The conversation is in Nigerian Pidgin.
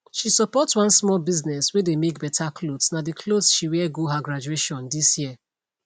she support one small business whey dey make better clothesna the clothes she wear go her graduation this year